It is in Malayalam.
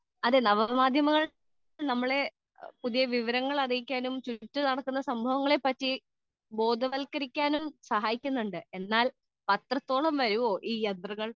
സ്പീക്കർ 2 അതെ നവമാധ്യമങ്ങൾ നമ്മളെ പുതിയ വിവരങ്ങൾ ചുറ്റും നടക്കുന്ന സംഭവങ്ങളെ പറ്റി ബോധവൽക്കരിക്കാനും സഹായിക്കുന്നുണ്ട് . എന്നാൽ പത്രത്തോളം വരുമോ ഈ യന്ത്രങ്ങൾ